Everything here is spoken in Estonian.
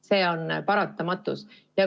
See on paratamatus.